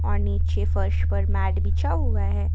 और नीचे फर्श पर मैट बिछा हुआ है।